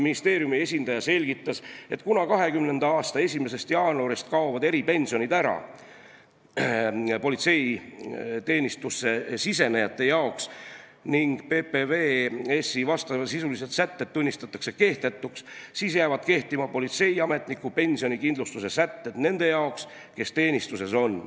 Ministeeriumi esindaja selgitas, et kuna 2020. aasta 1. jaanuarist kaovad politseiteenistusse tulijatele eripensionid ära ning PPVS-i vastavasisulised sätted tunnistatakse kehtetuks, jäävad kehtima politseiametniku pensionikindlustuse sätted nendele, kes teenistuses on.